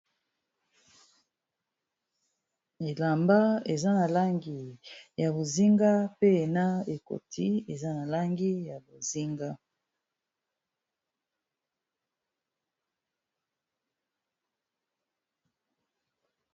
elamba eza na langi ya bozinga pe na ekoti eza na langi ya bozinga